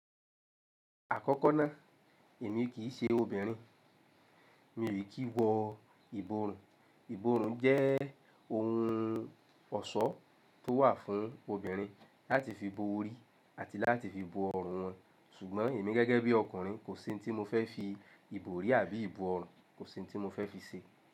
Àkọ́kọ́ ná, èmi kì í ṣe obìnrin. Mi ò rí kí wọ ìborùn. Ìborùn jẹ́ ohun ọ̀ṣọ́ tó wà fún obìnrin láti fi bo orí àti láti fi bo ọrùn wọn. Sùgbọ́n èmi gẹ́gẹ́ bí ọkùnrin kò sí ohun tí mo fẹ́ fi ìbò orí àbí ìbò ọrùn, kò sí ohun tí mo fẹ́ fi ṣe.